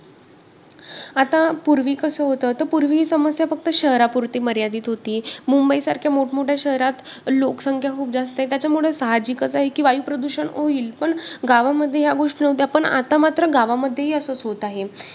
आता पूर्वी कसं होतं, तर पूर्वी समस्या फक्त शहरापूरती मर्यादित होती. मुंबईसारख्या मोठ-मोठ्या शहरात लोकसंख्या खूप जास्त आहे त्याच्यामुळे साहजिकच आहे की वायूप्रदूषण होईल. पण गावामध्ये ह्या गोष्टी नव्हत्या पण आता मात्र गावामध्येही असंच होत आहे.